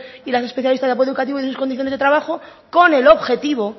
y las especialistas de apoyo educativo y sus condiciones de trabajo con el objetivo